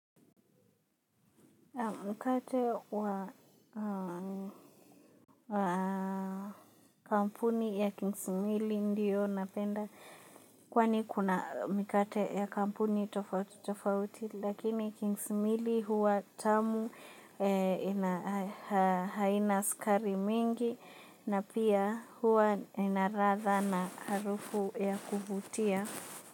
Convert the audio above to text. Mkate wa kampuni ya Kings Milli ndio napenda kwani kuna mikate ya kampuni tofauti tofauti lakini Kings Milli huwa tamu haina sukari mingi na pia huwa na ladha na harufu ya kuvutia.